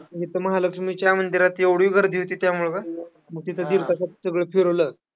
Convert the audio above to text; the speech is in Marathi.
पण, इथं महालक्ष्मीच्या मंदिरात एवढी गर्दी होतीं त्यामुळं का, मग तिथं दीड तासात सगळं फिरवलं.